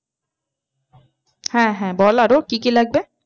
হ্যাঁ হ্যাঁ বল আরো কি কি লাগবে?